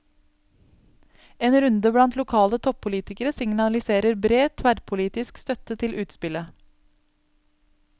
En runde blant lokale toppolitikere signaliserer bred, tverrpolitisk støtte til utspillet.